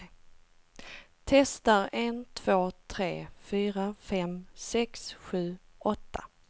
Testar en två tre fyra fem sex sju åtta.